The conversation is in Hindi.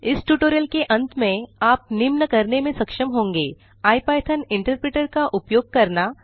इस ट्यूटोरियल की अंत में आप निम्न करने में सक्षम होंगे इपिथॉन इंटरप्रेटर का उपयोग करना